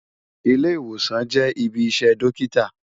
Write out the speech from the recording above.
Ilé-Iwósán jè ibi iṣè Dòkitá